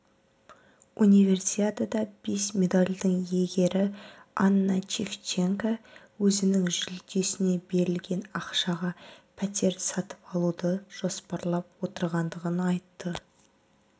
универсиада бес медальдің иегері анна шевченко өзінің жүлдесіне берілген ақшаға пәтер сатып алуда жоспарлап отырғандығын айтты